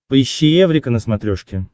поищи эврика на смотрешке